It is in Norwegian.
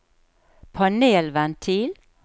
panelventil